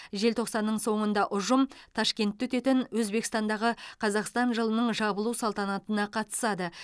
желтоқсанның соңында ұжым ташкентте өтетін өзбекстандағы қазақстан жылының жабылу салтанатына қатысады